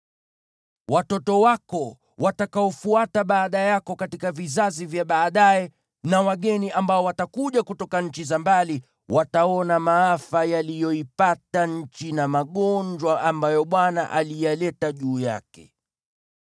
Watoto wako watakaofuata baada yako katika vizazi vya baadaye na wageni ambao watakuja kutoka nchi za mbali, wataona maafa, yaliyoipata nchi na magonjwa ambayo Bwana aliyaleta juu yake.